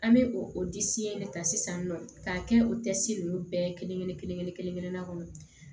An bɛ o o disi in de ta sisan nɔ k'a kɛ o ninnu bɛɛ kelen kelen kelen kelen kelen na kɔnɔ